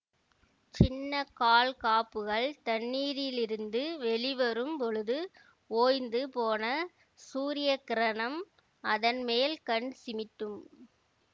சின்ன கால் காப்புகள் தண்ணீரிலிரிந்து வெளிவரும் பொழுது ஓய்ந்து போன சூரிய கிரணம் அதன் மேல் கண் சிமிட்டும்